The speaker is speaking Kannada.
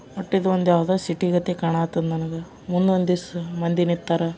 ವಟ್ಟ ಇದು ಒಂದು ಯಾವುದೋ ಒಂದು ಸಿಟಿ ಕಣಕ್ ಹತ್ತದ ನನಗ. ಮುಂದ ಒಂದ ದಿಸಾ ಮಂದಿ ನಿಂತರ.